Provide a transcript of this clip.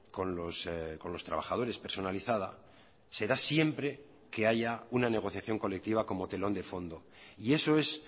con los trabajadores personalizada será siempre que haya una negociación colectiva como telón de fondo y eso es